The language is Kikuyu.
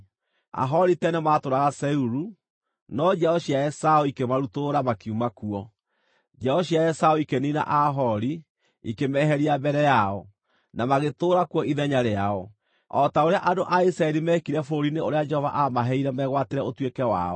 Aahori tene maatũũraga Seiru, no njiaro cia Esaũ ikĩmarutũrũra, makiuma kuo. Njiaro cia Esaũ ikĩniina Aahori, ikĩmeeheria mbere yao, na magĩtũũra kuo ithenya rĩao, o ta ũrĩa andũ a Isiraeli meekire bũrũri-inĩ ũrĩa Jehova aamaheire megwatĩre ũtuĩke wao.)